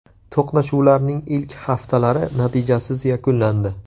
To‘qnashuvlarning ilk haftalari natijasiz yakunlandi.